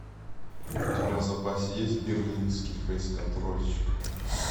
у тебя в запасе есть берлинский фейсконтрольщик